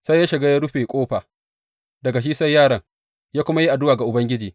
Sai ya shiga, ya rufe ƙofa, daga shi sai yaron, ya kuma yi addu’a ga Ubangiji.